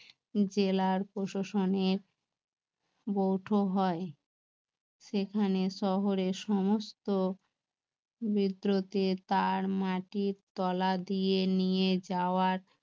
জেলার প্রশাসনের বৌঠো হয় সেখানে শহরে সমস্ত বিদ্রোহের তার মাটির তলা দিয়ে নিয়ে যাওয়া